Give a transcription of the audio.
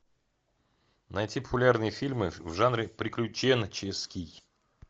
найти популярные фильмы в жанре приключенческий